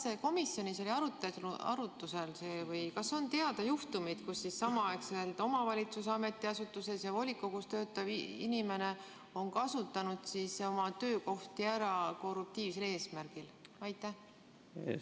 Kas komisjonis oli arutlusel see või kas on teada juhtumeid, kui samaaegselt omavalitsuse ametiasutuses ja volikogus töötav inimene on kasutanud oma töökohti ära korruptiivsel eesmärgil?